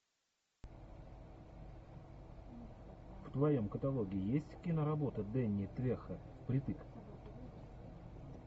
в твоем каталоге есть киноработа дэнни трехо впритык